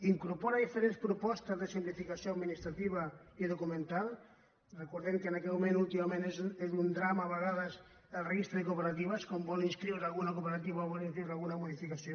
incorpora diferents propostes de simplificació administrativa i documental recordem que en aquest moment últimament és un drama a vegades el registre de cooperatives quan vol inscriure hi alguna cooperativa o fer alguna modificació